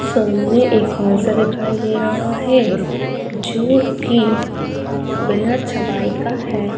सामने एक हाल सा दिखाई दे रहा है जो की बाना छवाई का है।